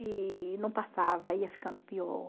E não passava, ia ficando pior.